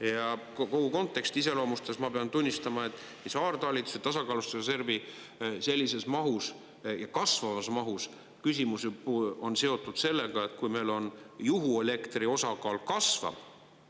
Ja kogu konteksti iseloomustades ma pean tunnistama, et saartalitluse tasakaalustusreservi sellises mahus, kasvavas mahus küsimus on seotud sellega, et kui meil juhuelektri osakaal kasvab